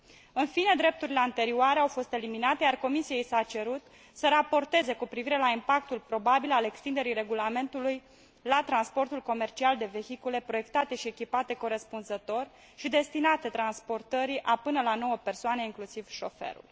În fine, drepturile anterioare au fost eliminate, iar Comisiei i s a cerut să raporteze cu privire la impactul probabil al extinderii regulamentului la transportul comercial de vehicule proiectate și echipate corespunzător și destinate transportării a până la 9 persoane inclusiv șoferul.